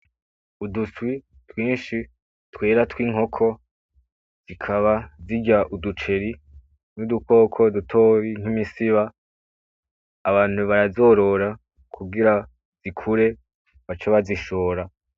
Uduswi twinshi twera tw'inkoko zikaba zirya uduceri nudukoko dutoyi nk'imisiba abantu barazorora kugira zikure bace bazishora